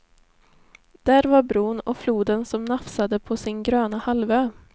Där var bron, och floden som nafsade på sin gröna halvö.